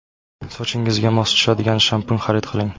Sochingizga mos tushadigan shampun xarid qiling.